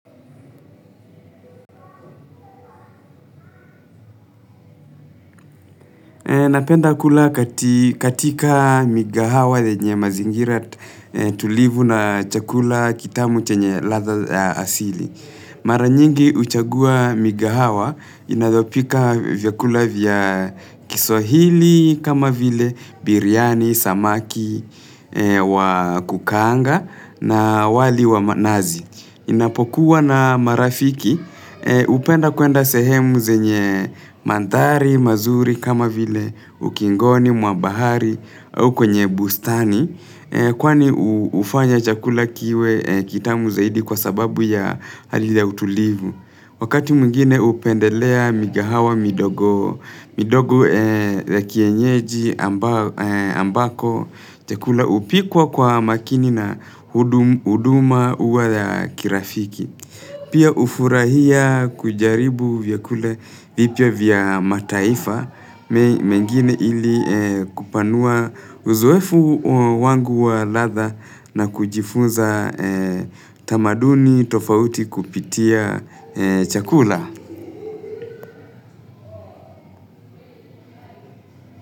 Napenda kula katika mikahawa yenye mazingira tulivu na chakula kitamu chenye ladha asili. Mara nyingi huchagua mikahawa inavyopika vyakula vya kiswahili kama vile biriani, samaki, wakukaanga na wali wa manazi. Ninapokuwa na marafiki upenda kwenda sehemu zenye mandari, mazuri kama vile ukingoni mwa bahari au kwenye bustani. Kwani hufanya chakula kiwe kitamu zaidi kwa sababu ya hali ile ya utulivu. Wakati mwigine hupendelea mikahawa midogo za kienyeji ambako chakula upikwa kwa makini na huduma uwa ya kirafiki. Pia hufurahia kujaribu vyakula vipya vya mataifa. Mengine ili kupanua uzoefu wangu wa ladha na kujifunza tamaduni tofauti kupitia chakula.